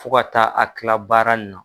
Fo ka taa a kila baara na.